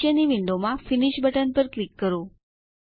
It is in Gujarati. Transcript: નીચેની વિન્ડોમાં ફિનિશ બટન પર ક્લિક કરો